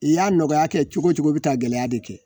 I y'a nɔgɔya kɛ cogo cogo bɛ taa gɛlɛya de kɛ